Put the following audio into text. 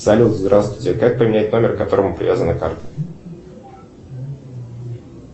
салют здравствуйте как поменять номер к которому привязана карта